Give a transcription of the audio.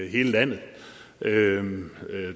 i hele landet